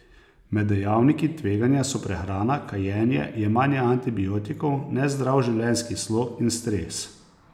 Med dejavniki tveganja so prehrana, kajenje, jemanje antibiotikov, nezdrav življenjski slog in stres.